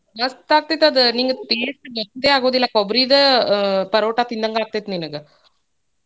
ಮಸ್ತ್ ಆಗ್ತೇತಿ ಅದ್ ನಿಂಗ್ taste ಗೊತ್ತೇ ಆಗುದಿಲ್ಲ ಕೊಬ್ರೀದ ಅಹ್ ಪರೋಟಾ ತಿಂದಂಗ್ ಆಗ್ತೇತಿ ನಿನಗ.